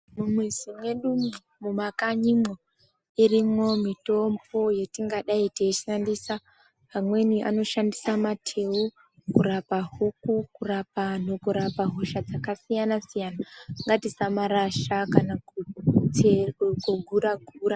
Mumwizi mwedumu mumakanyimwo irimwo mitombo yetingadai teishandisa. Amweni anoshandisa mateu kurapa huku, kurapa antu kana hosha dzakasiyana-siyana. Ngatisamarasha kana kugura-gura.